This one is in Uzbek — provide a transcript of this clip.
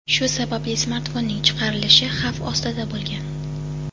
Shu sababli smartfonning chiqarilishi xavf ostida bo‘lgan.